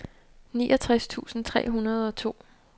niogtres tusind tre hundrede og to